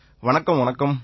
வணக்கம் வணக்கம்